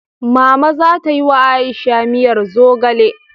Mama za ta yi wa Aisha miyar zogale.